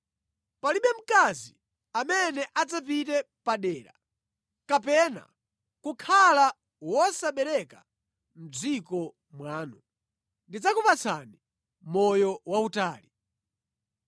Palibe mkazi amene adzapite padera kapena kukhala wosabereka mʼdziko mwanu. Ndidzakupatsani moyo wautali.